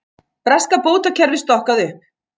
Breska bótakerfið stokkað upp